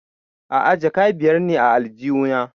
A'a jaka biyar ne a aljihu na